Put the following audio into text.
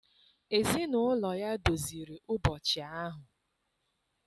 Ezinụlọ ya doziri ụbọchị ahụ.